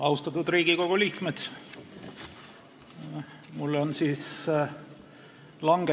Austatud Riigikogu liikmed!